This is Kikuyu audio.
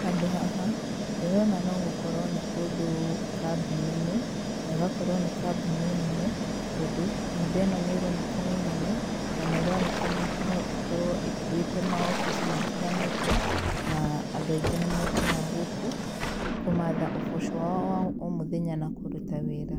Handũ haha, ndĩrona no gũkorwo nĩ kũndũ kambuni-inĩ, na ĩgakorwo nĩ kambuni nene, tondũ, nyũmba ĩno nĩ ĩroneka nĩ nene, na nĩ ĩroneka no ĩkorwo ĩkuĩte maobici matiganĩte, na andũ aingĩ nĩ mokaga gũkũ, kũmaatha ũboco wao wa o mũthenya na kũruta wĩra.